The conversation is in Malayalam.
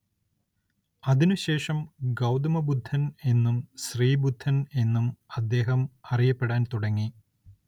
അതിനുശേഷം ഗൗതമബുദ്ധൻ എന്നും ശ്രീബുദ്ധൻ എന്നും അദ്ദേഹം അറിയപ്പെടാൻ തുടങ്ങി.